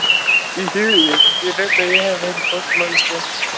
Ég veit að ég hef verið broguð manneskja.